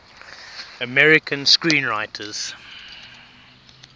american screenwriters